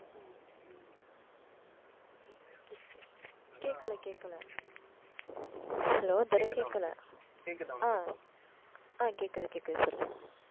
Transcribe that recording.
கேட்கல கேட்கல. hello துரை கேட்கல. ஆஹ் ஆஹ் கேக்குது, கேக்குது